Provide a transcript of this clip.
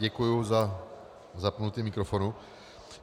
Děkuji za zapnutí mikrofonu.